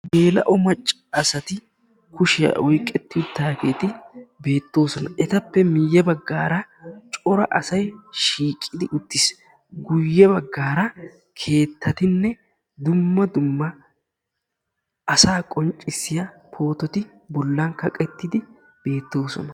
Geela'o macca asati kushiya oyiqettidaageeti beettoosona. etappe guyye baggaara cora asay shiiqidi uttis. guyye baggaara keettatinne dumma dumma asa qonccissiya poototi bollan kaqettidi beettoosona.